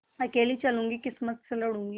अकेली चलूँगी किस्मत से मिलूँगी